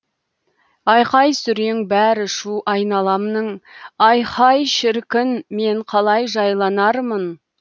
айқай сүрең бәрі шу айналамның айхай шіркін мен қалай жайланармын